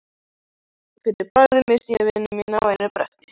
Fyrir bragðið missti ég vini mína á einu bretti.